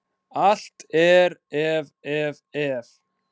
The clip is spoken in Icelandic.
Allt er, ef, ef, ef.